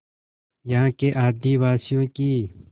यहाँ के आदिवासियों की